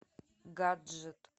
гаджет